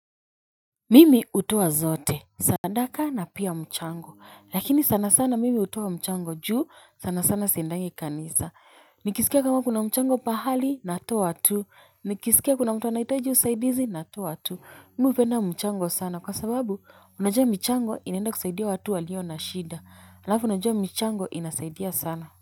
Mimi hutoa zote, sadaka na pia mchango, lakini sana sana mimi hutoa mchango juu sana sana siendangi kanisa, nikisikia kama kuna mchango pahali natoa tu, nikisikia kuna mtu anahitaji usaidizi natoa tu, mi hupenda mchango sana kwa sababu unajua michango inaenda kusaidia watu walio na shida, alafu unajua michango inasaidia sana.